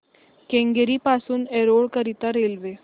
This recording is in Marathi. केंगेरी पासून एरोड करीता रेल्वे